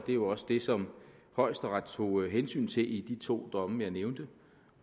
jo også det som højesteret tog hensyn til i de to domme jeg nævnte